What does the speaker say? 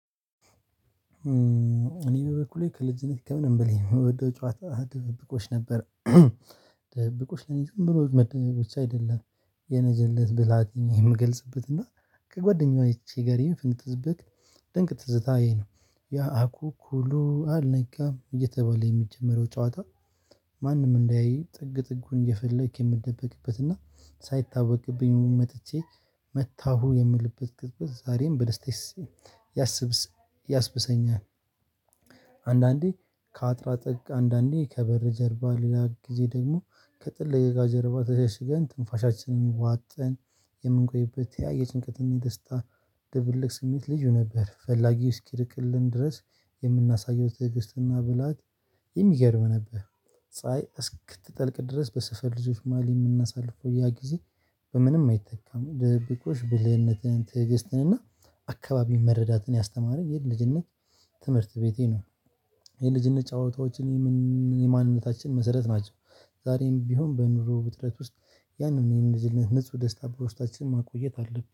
እኔ በበኩሌ ከልጅነቴ ከምንም በላይ የምወደው ጨዋታ ድብቅብቆሽ ነበር። ድብብቅሽ ለኔ ዝም ብሎ መደበቦች አይደለም። የልጀነት ብላቴን የምገልጽበት እና ከጓደኛዋ ይቺ ጋር ኢንፍንትስብክ ድንቅ ትዝታ ይሄ ነው። ያ አኩኩሉ አልነጋም እየተበለ የሚጀመረው ጨዋታ። ማንም እንዳያይ ጥግ ጥጉን እየፈለክ የምደበቅበትና ሳይታወቅብኝ መጥቼ መታሁ የምልበት ቅጽበት ዛሬም በደስደስ ያስብሰኛል። አንዳንዴ ከአጥራ ጥቅ አንዳንዴ ከበር ጀርባ ሌላ ጊዜ ደግሞ ከጥልቀት ደጋ ጀርባ ተሸሽገን ትንፋሻችንን ዋጠን የምንቆይበት ያ የጭንቀትና የደስታ ደብል ስሜት ልጅ ነበር። ፈላጊው እስኪርቅልን ድረስ የምናሳየው ድርጅትና ብልሃት የሚገርም ነበር። ፀሀይ እስክትጠልቅ ድረስ በሰፈር ልጆች ማሊ የምናሳልፈው ያ ጊዜ በምንም አይተካም። ደብቅ እኮ ሽብልህነትህን ትዕግስትን እና አካባቢ መረዳትን ያስተማረኝ ይሄን ልጅነት ትምህርት ቤቴ ነው። ይሄን ልጅነት ጨዋታዎችን የማንነታችን መሰረት ናቸው። ዛሬም ቢሆን በኑሮ ውጥረት ውስጥ ያንን ይህን ልጅ ንጹህ ደስታ በሮሽታችን ማቆየት አለብን